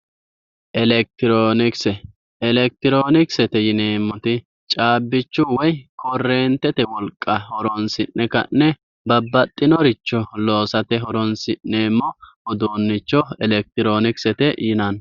Elekitironkise, elekitironkisete yineemmoti caabbicho woyi koretete wolqa horonsi'ne ka'ne babbaxinoricho loossate horonsi'neemmo uduuncho elekitironkisete yineemmo.